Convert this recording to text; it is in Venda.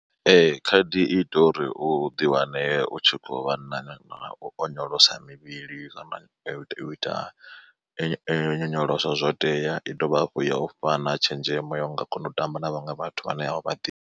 Ee khaedu i ita uri u ḓiwane u tshi khou vha na u onyolosa mivhili kana u ita nyonyoloso zwo tea. I dovha hafhu ya u fhana tshenzhemo ya u nga kona u tamba na vhaṅwe vhathu vhane a u vha ḓivhi.